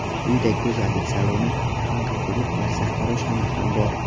Uyda go‘zallik saloni, tungi klub va sartaroshxona ham bor.